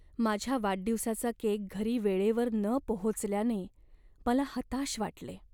माझ्या वाढदिवसाचा केक घरी वेळेवर न पोहोचल्याने मला हताश वाटले.